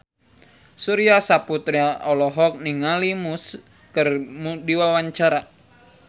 Surya Saputra olohok ningali Muse keur diwawancara